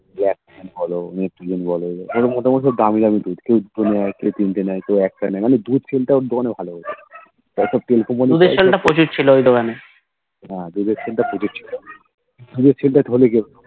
LACTOGEN বলো Metrogen বলো এগুলো মোটামুটি সব দামি দামি দুধ কেও দুটো নেই কেও তিনটে নেই কেও একটা নেই মানে দুধ Sell টা ওর দোকানে বেশ ভালো হতো হ্যাঁ দুধের Sell টা প্রচুর ছিল দুধের Sell টা হলে কি হবে